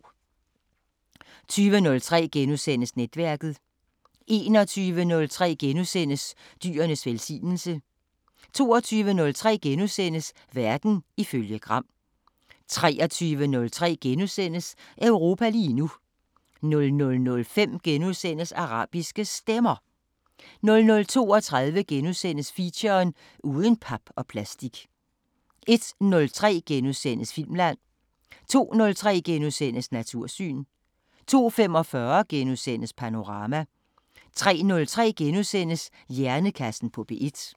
20:03: Netværket * 21:03: Dyrenes velsignelse * 22:03: Verden ifølge Gram * 23:03: Europa lige nu * 00:05: Arabiske Stemmer * 00:32: Feature: Uden pap og plastik * 01:03: Filmland * 02:03: Natursyn * 02:45: Panorama * 03:03: Hjernekassen på P1 *